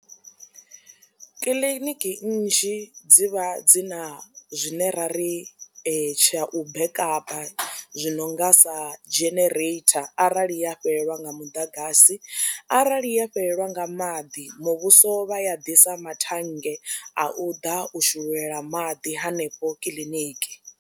Kiḽiniki nnzhi dzi vha dzi na zwine ra ri tsha u bekapa zwi no nga sa genereitha arali ya fhelelwa nga muḓagasi arali ya fhelelwa nga maḓi muvhuso vha ya ḓisa mathannge a u ḓa u shululela maḓi hanefho kiḽiniki.